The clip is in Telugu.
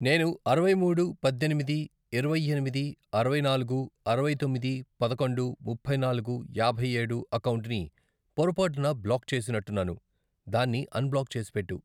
నేను అరవై మూడు, పద్దెనిమిది, ఇరవై ఎనిమిది, అరవై నాలుగు, అరవై తొమ్మిది, పదకొండు, ముప్పై నాలుగు, యాభై ఏడు, అకౌంటుని పొరపాటున బ్లాక్ చేసినట్టున్నాను, దాన్ని అన్ బ్లాక్ చేసిపెట్టు.